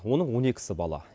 оның он екісі бала